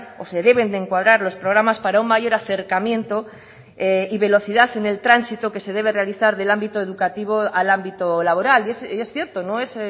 o se deben de encuadrar los programas para un mayor acercamiento y velocidad en el tránsito que se debe realizar del ámbito educativo al ámbito laboral y es cierto no es